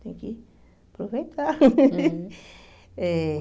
Tenho que aproveitar eh.